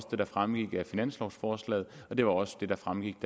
det der fremgik af finanslovforslaget og det var også det der fremgik